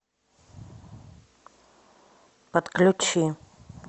отключи